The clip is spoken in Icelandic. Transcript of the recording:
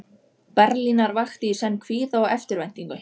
Berlínar vakti í senn kvíða og eftirvæntingu.